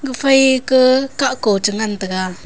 phai ke kakko chi ngan taiga.